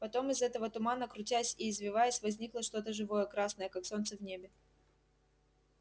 потом из этого тумана крутясь и извиваясь возникло что-то живое красное как солнце в небе